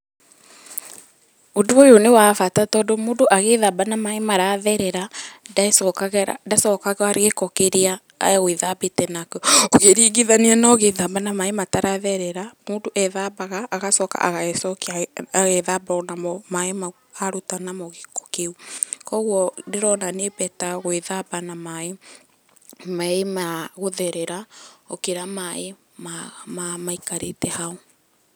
Ũndũ ũyũ ni wa bata tondũ agĩthamba na maaĩ maratherera, ndacokaga gĩĩko kĩrĩa egwithambĩte nakĩo, ũkirĩngĩthanĩa na ũgĩthamba na maaĩ mataretherera, mũndũ ethambaga agacoka agecokĩa agethamba onamo maaĩ maũ arũta namo gĩĩko kĩũ, kogwo ndĩrona nĩ better gwĩthamba na maaĩ magũtherera, gũkĩra maaĩ marĩa maĩkarĩte haũ.